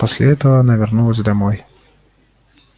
после этого она вернулась домой